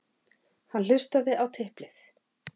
Hann hlustaði á tiplið.